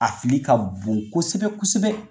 A fili ka bon kosɛbɛ kosɛbɛ